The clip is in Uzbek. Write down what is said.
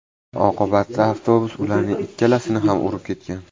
Oqibatda avtobus ularning ikkalasini ham urib ketgan.